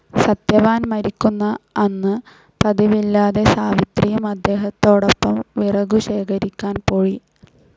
സത്യവാൻ മരിക്കുന്ന അന്ന് പതിവില്ലാതെ സാവിത്രിയും അദ്ദേഹത്തോടൊപ്പം വിറകുശേഖരിക്കാൻ പോയി.